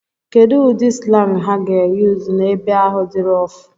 Kedu ụdị slang ha ga-eyuzu n'ebe ahụ dị roff?